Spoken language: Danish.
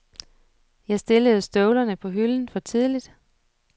Jeg stillede støvlerne på hylden for tidligt.